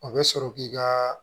O bɛ sɔrɔ k'i ka